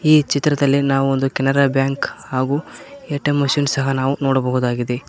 ಈ ಚಿತ್ರದಲ್ಲಿ ನಾವು ಒಂದು ಕೆನರಾ ಬ್ಯಾಂಕ್ ಹಾಗು ಎ_ಟಿ_ಎಂ ಮಷೀನ್ ಸಹ ನಾವು ನೋಡಬಹುದಾಗಿದೆ.